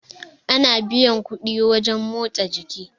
ana biyan kuɗi wajen motsa jiki